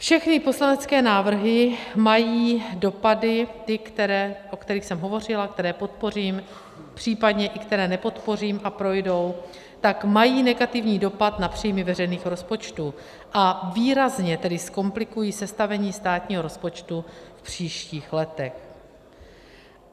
Všechny poslanecké návrhy mají dopady, ty, o kterých jsem hovořila, které podpořím, případně i které nepodpořím a projdou, tak mají negativní dopad na příjmy veřejných rozpočtů, a výrazně tedy zkomplikují sestavení státního rozpočtu v příštích letech.